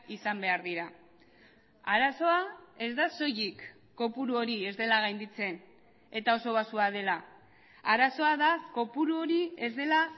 izan behar dira arazoa ez da soilik kopuru hori ez dela gainditzen eta oso baxua dela arazoa da kopuru hori ez dela